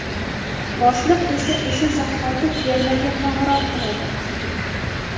Boshliq esa o‘sha zahoti fermerga qo‘ng‘iroq qiladi.